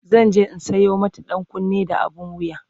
zanje in Sayo mata ɗankunne da abun wuya